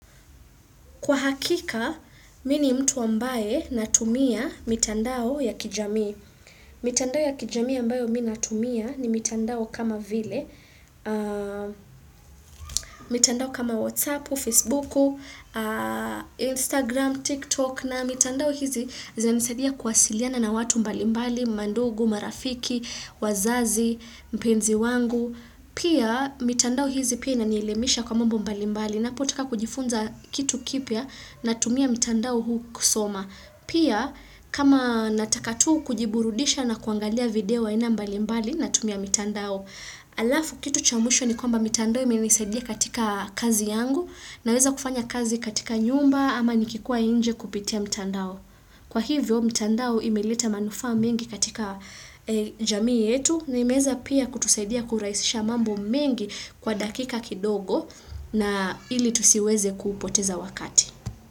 Kwa hakika, mi ni mtu ambae natumia mitandao ya kijamii. Mitandao ya kijamii ambayo mi natumia ni mitandao kama vile. Mitandao kama WhatsApp, Facebook, Instagram, TikTok na mitandao hizi zinanisaidia kwasiliana na watu mbalimbali, mandugu, marafiki, wazazi, mpenzi wangu. Pia mitandao hizi pia inanielimisha kwa mambo mbalimbali napotaka kujifunza kitu kipya natumia mitandao huu kusoma. Pia kama nataka tu kujiburudisha na kuangalia video aina mbalimbali natumia mitandao. Alafu kitu chamushwa ni kwamba mitandao imenisaidia katika kazi yangu naweza kufanya kazi katika nyumba ama nikikua inje kupitia mitandao. Kwa hivyo mitandao imeleta manufaa mingi katika jamii yetu na imeeza pia kutusaidia kuraisisha mambo mingi kwa dakika kidogo na ili tusiweze kuupoteza wakati.